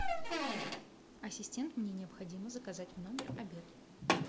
ассистент мне необходимо заказать в номер обед